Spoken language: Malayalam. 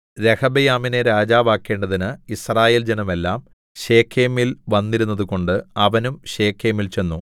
രെഹബെയാമിനെ രാജാവാക്കേണ്ടതിന് യിസ്രായേൽ ജനമെല്ലാം ശെഖേമിൽ വന്നിരുന്നതുകൊണ്ട് അവനും ശെഖേമിൽ ചെന്നു